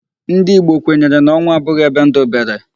Ndị Igbo kwenyere na onwu abụghị ebe ndụ bere.